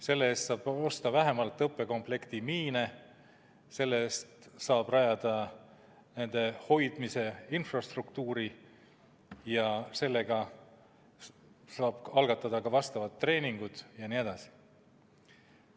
Selle raha eest saab osta õppekomplekti miine, rajada nende hoidmise infrastruktuuri, algatada treeningud jne.